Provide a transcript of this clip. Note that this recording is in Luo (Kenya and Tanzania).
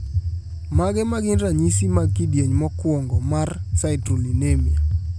Mage magin ranyisi mag kidieny mokuongo mar Citrullinemia?